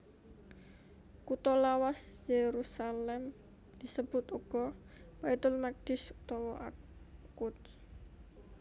Kutha lawas Yerusalem disebut uga Baitul Maqdis utawa Al Quds